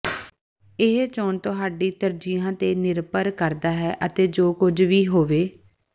ਇਹ ਚੋਣ ਤੁਹਾਡੀ ਤਰਜੀਹਾਂ ਤੇ ਨਿਰਭਰ ਕਰਦਾ ਹੈ ਅਤੇ ਜੋ ਕੁਝ ਵੀ ਹੋਵੇ